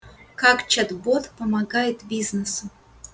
как чат-бот помогает бизнесу